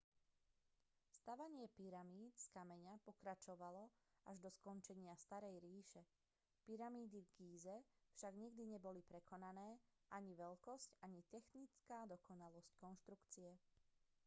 stavanie pyramíd z kameňa pokračovalo až do skončenia starej ríše pyramídy v gíze však nikdy neboli prekonané ani veľkosť ani technická dokonalosť konštrukcie